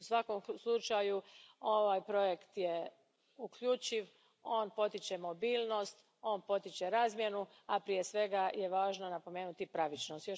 U svakom slučaju, ovaj projekt je uključiv, on potiče mobilnost, on potiče razmjenu, a prije svega je važno napomenuti pravičnost.